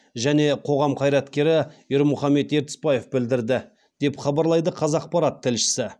және қоғам қайраткері ермұхамет ертісбаев білдірді деп хабарлайды қазақпарат тілшісі